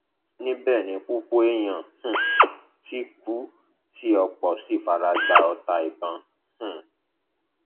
níbẹ ni púpọ èèyàn um ti kú tí ọpọ sì fara gbá ọta ìbọn um